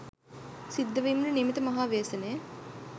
සිද්ධ වීමට නියමිත මහා ව්‍යසනය